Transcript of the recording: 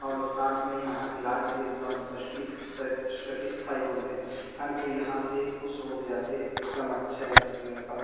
और साथ में यहाँ के इलाज भी एकदम सस्टि सा सैटिस्‌फ़ाइ बोलथे हर कोई यहाँ से खुश हो के जाथे एकदम अच्छे ए--